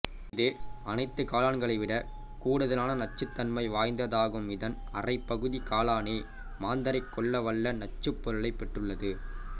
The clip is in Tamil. இது அனைத்துக் காளான்களை விட கூடுதலான நச்சுத்தன்மை வாய்ந்ததாகும்மிதன் அரைப்பகுதிக் காளானே மாந்தரைக் கொல்லவல்ல நச்சுப்பொருளைப் பெற்றுள்ளது